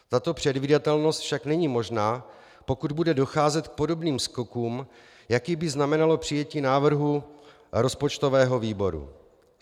Tato předvídatelnost však není možná, pokud bude docházet k podobným skokům, jaký by znamenalo přijetí návrhu rozpočtového výboru.